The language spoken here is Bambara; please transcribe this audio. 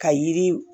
Ka yiri